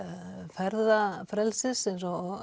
ferðafrelsis eins og